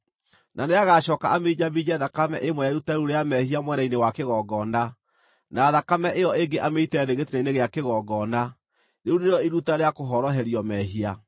na nĩagacooka aminjaminje thakame ĩmwe ya iruta rĩu rĩa mehia mwena-inĩ wa kĩgongona, na thakame ĩyo ĩngĩ amĩite thĩ gĩtina-inĩ gĩa kĩgongona. Rĩu nĩrĩo iruta rĩa kũhoroherio mehia.